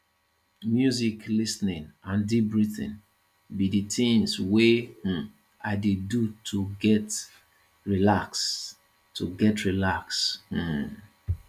music lis ten ing and deep breathing be di things wey um i dey do to get relaxed to get relaxed um